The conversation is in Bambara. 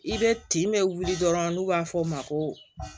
I bɛ tin bɛ wuli dɔrɔn n'u b'a fɔ o ma ko